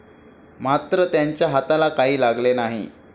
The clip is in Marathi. मात्र त्यांच्या हाताला काही लागले नाही.